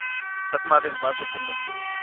swa timali hinkwako kumbe kun